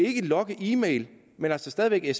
logge e mails men altså stadig